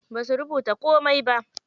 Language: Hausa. Basu rubuta komai ba.